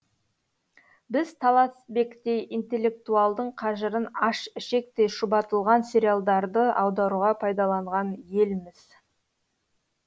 біз таласбектей интелектуалдың қажырын аш ішектей шұбатылған сериалдарды аударуға пайдаланған елміз